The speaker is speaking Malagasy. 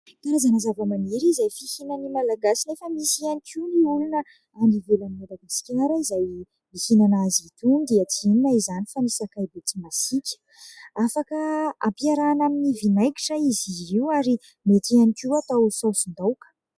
Karazana zava-maniry izay fihinan'ny malagasy nefa misy ihany koa ny olona any ivelan'i Madakiskara izay mihinana azy itony dia tsia inona izany fa ny sakay be tsy masika, afaka ampiarahana amin'ny vinaigitra izy io ary mety ihany koa atao saosin-daoka.